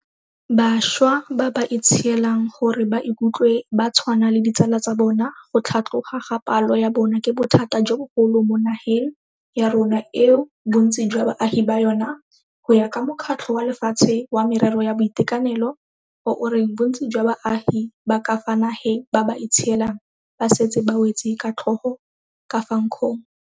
Bašwa ba ba itshielang gore ba ikutlwe ba tshwana le ditsala tsa bona go tlhatloga ga palo ya bona ke bothata jo bogolo mo nageng ya rona eo bontsi jwa baagi ba yona, go ya ka Mokgatlho wa Lefatshe wa Merero ya Boitekanelo, o o reng bontsi jwa baagi ba ka fa nageng ba ba itshielang ba setse ba wetse ka tlhogo ka fa nkgong.